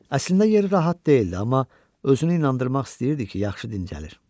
Əslində yeri rahat deyildi, amma özünü inandırmaq istəyirdi ki, yaxşı dincəlir.